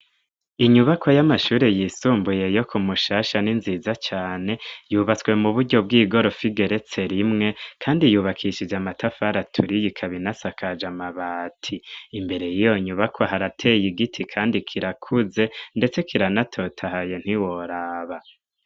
Inyubako y'amashuri yisumbuye yo ku mushasha ninziza cane yubatswe mu buryo bw'igorofa igeretse rimwe, kandi yubakishije amatafaratura iyi ikabinasakaje amabati imbere iyo nyubako harateye igiti, kandi kirakuze, ndetse kiranatotahaye ntiworaba.